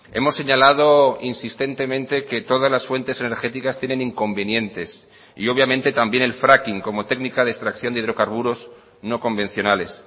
hemos señalado insistentemente que todas las fuentes energéticas tienen inconvenientes y obviamente también el fracking como técnica de extracción de hidrocarburos no convencionales